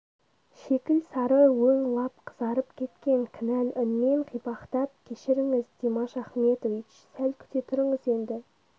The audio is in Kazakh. шикіл сары өң лап қызарып кеткен кінәл үнмен қипақтап кешіріңіз димаш ахметович сәл күте тұрыңыз енді